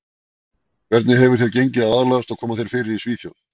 Hvernig hefur þér gengið að aðlagast og koma þér fyrir í Svíþjóð?